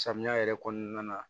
Samiya yɛrɛ kɔnɔna na